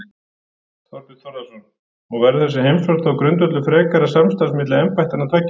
Þorbjörn Þórðarson: Og verður þessi heimsókn þá grundvöllur frekara samstarfs milli embættanna tveggja?